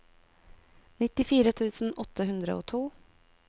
nittifire tusen åtte hundre og to